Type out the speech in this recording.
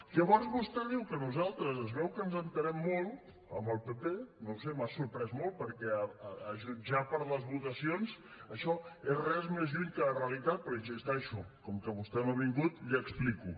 llavors vostè diu que nosaltres es veu que ens entenem molt amb el pp no ho sé m’ha sorprès molt perquè a jutjar per les votacions això és res més lluny que la realitat però hi insisteixo com que vostè no ha vingut l’hi explico